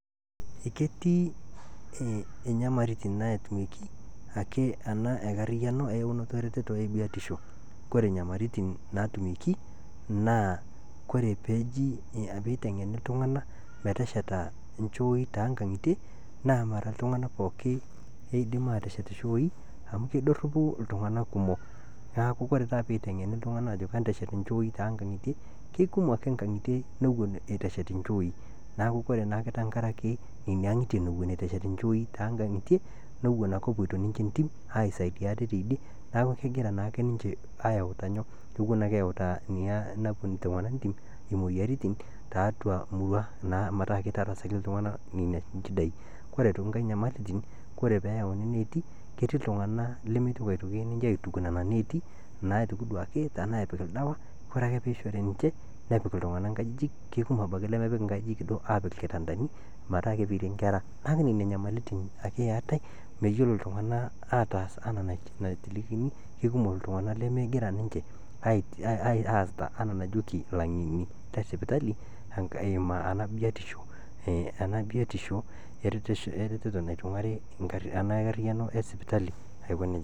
Ketii inyamaliritin naatumieki ake ena enkarriano eyaunoto ereteto e biotisho, kore inyamaliritin naatumieki naaa kore peitengeni ltunganak metesheta inchooi te nkang'itie pooki naa mara ltungana pooki oidim aateshet inchooi amu kedoropu ltungana kumok, naaku kore taata peitengeni ltunganak aajoki enteshet inchooii tee inkang'itie, kekumok inkang'itie newon eitu eshet inchoii, naaku ore naake tengaraki nenia aang'itie newen eitu eshet inchooii too nkang'itie newon ake epotio ninye intim aisaidia ate teidie naaku kegiranaake ninche ayauta nyoo, kewen ake eyauta ina nao ltungan itim imoyiaritin teatua murrua naa mataa keitarasaki ltungana ina nchidaii, kote aitokiinkse inyamaliritin, kore peeyauni neeti, ketii ltungana lemeitoki aitoki ninye aituk nenia neeti naa aituk duake tanaa epik ldawa, kore ake peishori ninche nepik ltungana nkajijik, kekumok abaki lemepik nkajijik duo aapik ilkitandani mataa keperie inkerra, naaku nenia inyamalirritin ake eatae, meyiolo ltungana ataas anaa nalikini, kekumok ltungana lemegira ninche aasita anaa najoki laing'eni le sipitali eimu ana biotisho ereteto neitung'ari ena enkarriano esipitali aikoneja.